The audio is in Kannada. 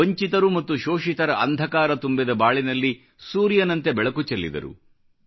ವಂಚಿತರು ಮತ್ತು ಶೋಷಿತರ ಅಂಧಕಾರ ತುಂಬಿದ ಬಾಳಿನಲ್ಲಿ ಸೂರ್ಯನಂತೆ ಬೆಳಕು ಚೆಲ್ಲಿದರು